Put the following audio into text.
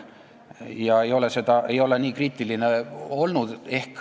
Ta ei ole nüüd ehk nii kriitiline olnud.